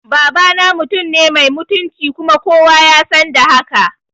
Babana mutumine mai mutunci kuma kowa yasan da haka